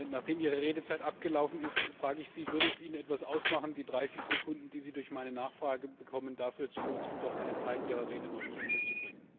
Nachdem Ihre Redezeit abgelaufen ist, frage ich Sie, ob es Ihnen etwas ausmachen würde, die 30 Sekunden, die Sie durch meine Nachfrage bekommen, dafür zu nutzen, doch einen Teil Ihrer Rede noch zu Ende zu bringen.